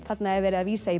þarna er verið að vísa í